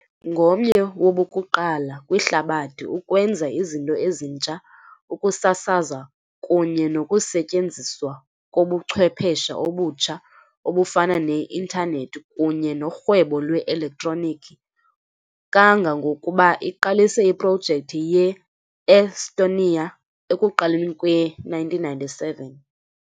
Ngomnye wabokuqala kwihlabathi ukwenza izinto ezintsha, ukusasaza kunye nokusetyenziswa kobuchwephesha obutsha, obufana ne-Intanethi kunye norhwebo lwe-elektroniki, kangangokuba iqalise iprojekthi ye-e-Estonia ekuqaleni kwe-1997.